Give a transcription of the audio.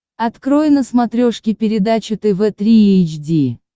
открой на смотрешке передачу тв три эйч ди